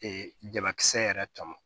jabakisɛ yɛrɛ tɔmɔ